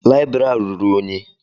Layibiri a rụrụ ụnyi.